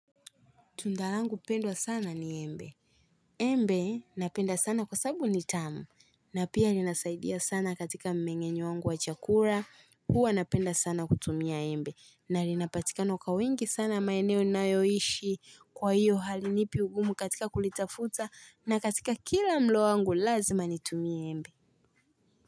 Tunda langu pendwa sana ni embe. Embe napenda sana kwa sababu ni tamu. Na pia linasaidia sana katika mmeng'enyo wangu wa chakula huwa napenda sana kutumia embe. Na linapatika kwa wingi sana maeneo ninayoishi kwa hiyo halinipi ugumu katika kulitafuta na katika kila mlo wangu lazima nitumie embe.